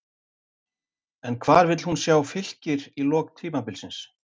En hvar vil hún sjá Fylkir í lok tímabilsins?